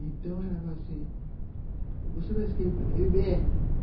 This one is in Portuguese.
Então, ela falou assim, você vai escrever.